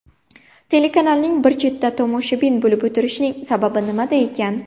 Telekanalning bir chetda tomoshabin bo‘lib o‘tirishining sababi nimada ekan?